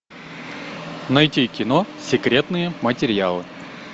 найти кино секретные материалы